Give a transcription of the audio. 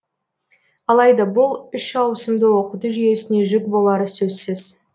алайда бұл үш ауысымды оқыту жүйесіне жүк болары сөзсіз